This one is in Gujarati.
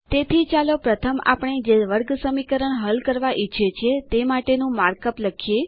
તેથી ચાલો પ્રથમ આપણે જે વર્ગસમીકરણ હલ કરવા ઈચ્છીએ છીએ તે માટેનું માર્કઅપ લખીએ